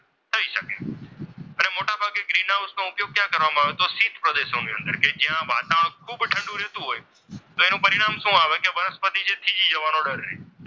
Green house નો ઉપયોગ ક્યાં કરવામાં આવે તો કે શીત પ્રદેશો ની અંદર કે જ્યાં વાતાવરણ ખૂબ ઠંડુ રહેતું હોય તો એનું પરિણામ શું આવે કે વનસ્પતિ છે તે થીજી જવાનો ડર રહે.